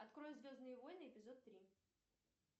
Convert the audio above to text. открой звездные войны эпизод три